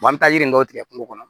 an bɛ yiri dɔ tigɛ kungo kɔnɔ